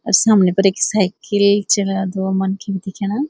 अर सामने पर ऐक साइकिल च दो मनखी भी दिखेणा।